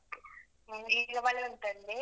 Okay ನಿಮ್ಗೀಗ ಮಳೆ ಉಂಟ ಅಲ್ಲಿ?